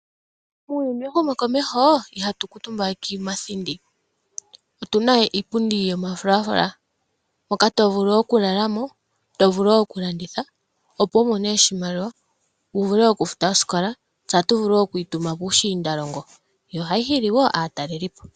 Muuyuni wehumokomeho ihatu kuutumba we kiithindi, otuna iipundi yomafulafula moka to vulu okulala mo, to vulu wo okulanditha opo wu mone oshimaliwa wu vule okufuta oosikola. Tse ohatu vulu wo okuyi tuma piishindalongo yo ohayi hili wo aatalelipo.